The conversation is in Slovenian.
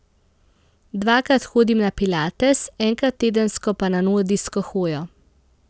Dvakrat hodim na pilates, enkrat tedensko pa na nordijsko hojo.